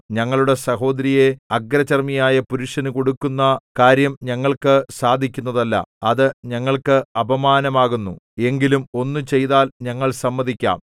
ഞങ്ങളുടെ സഹോദരിയെ അഗ്രചർമ്മിയായ പുരുഷന് കൊടുക്കുന്ന കാര്യം ഞങ്ങൾക്കു സാധിക്കുന്നതല്ല അത് ഞങ്ങൾക്ക് അപമാനമാകുന്നു എങ്കിലും ഒന്ന് ചെയ്താൽ ഞങ്ങൾ സമ്മതിക്കാം